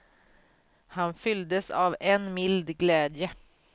Han fylldes av en mild glädje.